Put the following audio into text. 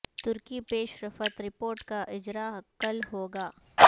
ترکی پیش رفت رپورٹ کا اجراء کل ہو گا